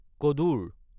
কদৰ